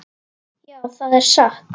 Já, það er satt.